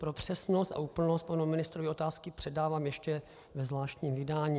Pro přesnost a úplnost panu ministrovi otázky předávám ještě ve zvláštním vydání.